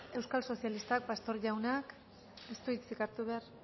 euskal sozialistak pastor jaunak ez du hitzik hartu behar